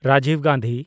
Rajib Gandhi